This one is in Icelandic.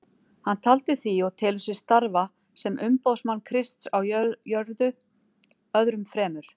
Taldi hann því og telur sig starfa sem umboðsmann Krists á jörðu öðrum fremur.